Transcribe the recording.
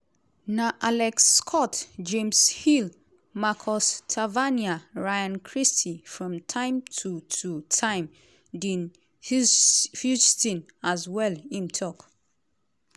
"na alex scott james hill marcus tavernier ryan christie from time to to time dean huijsen as well"im tok.